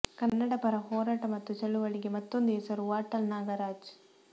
ಕನ್ನಡ ಪರ ಹೋರಾಟ ಮತ್ತು ಚಳುವಳಿಗೆ ಮತ್ತೊಂದು ಹೆಸರು ವಾಟಾಳ್ ನಾಗರಾಜ್